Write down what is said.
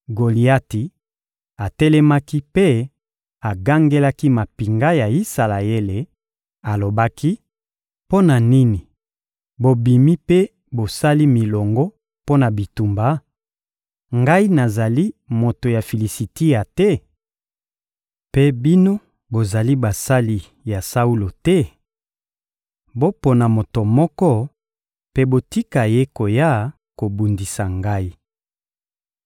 Goliati atelemaki mpe agangelaki mampinga ya Isalaele, alobaki: «Mpo na nini bobimi mpe bosali milongo mpo na bitumba? Ngai nazali moto ya Filisitia te? Mpe bino bozali basali ya Saulo te? Bopona moto moko mpe botika ye koya kobundisa ngai.